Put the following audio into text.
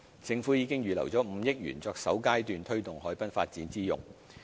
政府已預留5億元作首階段推動海濱發展之用。